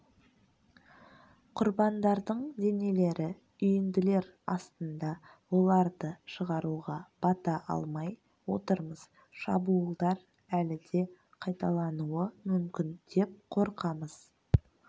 құрбандардың денелері үйінділер астында оларды шығаруға бата алмай отырмыз шабуылдар әлі де қайталануы мүмкін деп қорқамыз